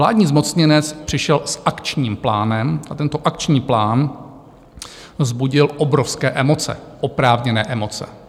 Vládní zmocněnec přišel s Akčním plánem a tento Akční plán vzbudil obrovské emoce, oprávněné emoce.